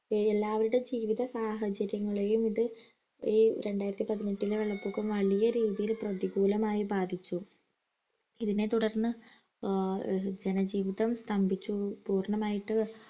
ശരി എല്ലാവരുടെ ജീവിത സാഹചര്യങ്ങളെയും ഇത് ഈ രണ്ടായിരത്തി പതിനെട്ടിലെ വെള്ളപൊക്കം വലിയ രീതിയിൽ പ്രതികൂലമായി ബാധിച്ചു ഇതിനെ തുടർന്ന്ജ ആഹ് ജനജീവിതം സ്തംഭിച്ചു പൂർണമായിട്ട്